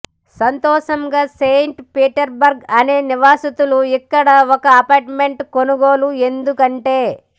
సంతోషంగా Saint Petersburg అనేక నివాసితులు ఇక్కడ ఒక అపార్ట్మెంట్ కొనుగోలు ఎందుకు అంటే